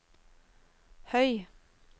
høy